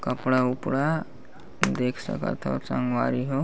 कपड़ा उपड़ा देख सकत हव संगवारी हो--